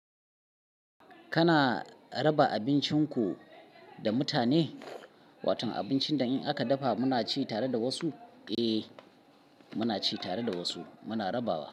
Kana raba abincin ku da mutane? Watan abincin da in aka dafa muna ci tare da wasu? Eh, muna ci tare da wasu. Wasu kuma muna rabawa.